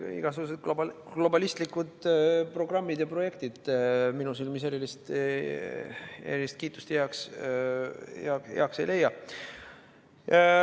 Igasugused globalistlikud programmid ja projektid minu silmis erilist kiitust ei leia.